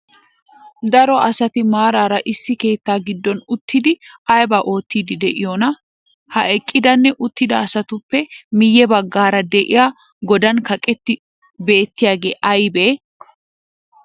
Daro asati maaraara issi keettaa giddon uttiddi aybaa oottidi de'iyonaa?ha eqqidanne uttida asatuppe miyye baggaara de'iyaa godan kaqqettidi beettiyagee aybee?